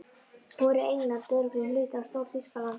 Þá verður England örugglega hluti af Stór-Þýskalandi.